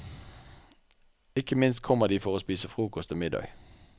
Ikke minst kommer de for å spise frokost og middag.